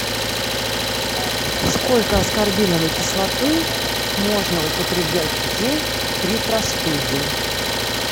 сколько аскорбиновой кислоты можно употреблять в день при простуде